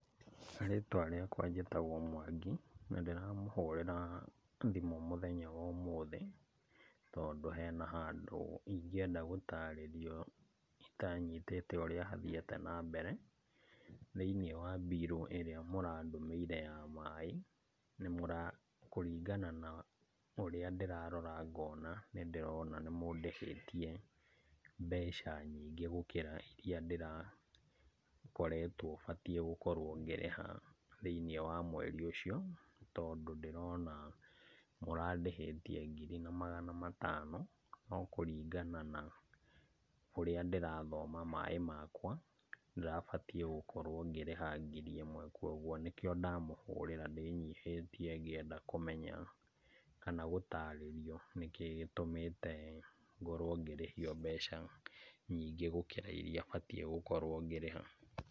Ritwa rĩakwa njĩtagwo Mwangi, na ndĩramũhũrĩra thimũ mũthenya womũthĩ, tondũ hena handũ ingienda gũtarĩrio, itanyitĩte ũrĩa hathiĩte na mbere, thĩinĩ wa mbirũ ĩra mũrandũmĩire ya maĩ, nĩ mũra kũringana na ũrĩa ndĩrarora ngona, nĩ ndĩrona nĩ mũndĩhĩtie mbeca nyingĩ gũkĩra iria ndĩrakoretwo batie gũkorwo ngĩrĩha thĩinĩ wa mweri ũcio, tondũ ndĩrona, mũrandĩhĩtie ngiri na magana matano, no kũringana na ũrĩa ndĩrathoma maĩ makwa, ndĩrabatiĩ gũkorwo ngĩrĩha ngiri ĩmwe, kwoguo nĩkĩo ndamũhũrĩra ndĩnyihĩtie ngĩenda kũmenya, kana gũtarĩrio, nĩkĩ gĩtũmĩte ngorwo ngĩrĩhio mbeca nyingĩ gũkĩra iria batiĩ gũkorwo ngĩrĩha.